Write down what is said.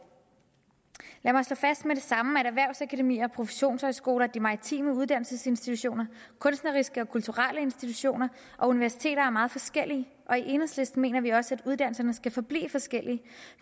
lad mig slå fast med det samme at erhvervsakademier og professionshøjskoler de maritime uddannelsesinstitutioner kunstneriske og kulturelle institutioner og universiteter er meget forskellige og i enhedslisten mener vi også at uddannelserne skal forblive forskellige